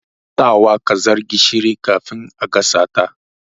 Sawa kazar gishiri kafin a gasa ta.